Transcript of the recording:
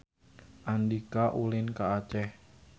Andika ulin ka Aceh